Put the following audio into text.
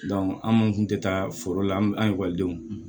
an minnu kun tɛ taa foro la an denw